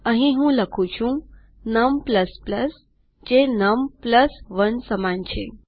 અહીં હું લખું છું num જે num1 સમાન જ છે